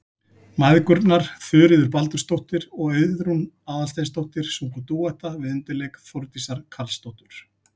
Mæðgurnar Þuríður Baldursdóttir og Auðrún Aðalsteinsdóttir sungu dúetta við undirleik Þórdísar Karlsdóttur.